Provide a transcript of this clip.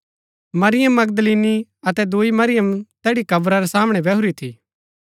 मरियम मगदलीनी अतै दूई मरियम तैड़ी कब्रा रै सामणै बैहुरी थी